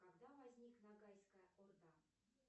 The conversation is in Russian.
когда возник нагайская орда